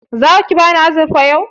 Zaki bani azurfar yau?